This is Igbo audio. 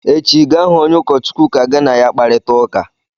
Echi, Ga hụ onye ụkọchukwu ka gị na ya kparịta ụka!